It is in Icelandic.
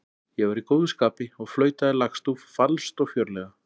Ég var í góðu skapi og flautaði lagstúf falskt og fjörlega.